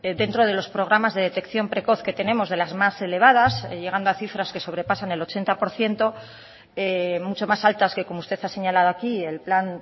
dentro de los programas de detección precoz que tenemos de las más elevadas llegando a cifras que sobrepasan el ochenta por ciento mucho más altas que como usted ha señalado aquí el plan